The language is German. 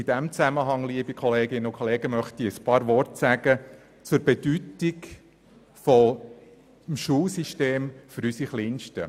In diesem Zusammenhang, liebe Kolleginnen und Kollegen, möchte ich ein paar Worte sagen zur Bedeutung des Schulsystems für unsere Kleinsten.